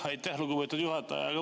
Aitäh, lugupeetud juhataja!